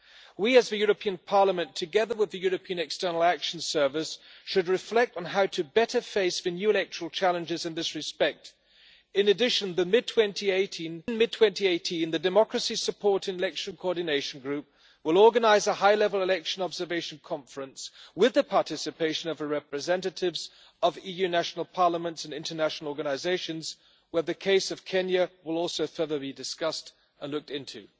We as the European Parliament, together with the European External Action Service, should reflect on how to better face the new electoral challenges in this respect. In addition, in mid 2018 the Democracy Support and Election Coordination Group will organise a high level election observation conference with the participation of representatives of EU national parliaments and international organisations, where the case of Kenya will also be further discussed and looked into.